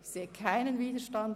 – Dies ist nicht der Fall.